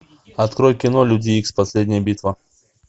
открой кино люди икс последняя битва